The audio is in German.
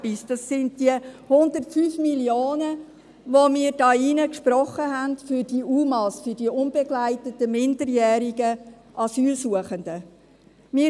Noch etwas: Das sind die 105 Mio. Franken, die wir hier im Rat für die Unbegleiteten minderjährigen Asylsuchenden (UMA) gesprochen haben: